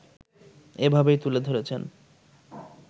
এভাবেই তুলে ধরেছেন